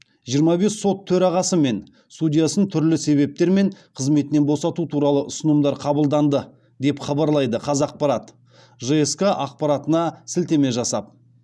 жиырма бес сот төрағасы мен судьясын түрлі себептермен қызметінен босату туралы ұсынымдар қабылданды деп хабарлайды қазақпарат жск аппаратына сілтеме жасап